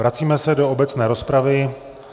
Vracíme se do obecné rozpravy.